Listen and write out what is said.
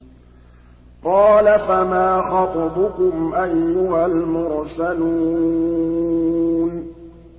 ۞ قَالَ فَمَا خَطْبُكُمْ أَيُّهَا الْمُرْسَلُونَ